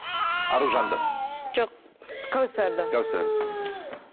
аружанды жоқ кәусарды кәусарды мхм